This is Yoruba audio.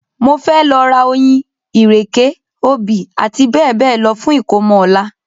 Mo fẹ́ lọ ra oyin, ìrèké, obì àti bẹ́ẹ̀bẹ́ẹ̀ lọ fún ìkómọ ọ̀la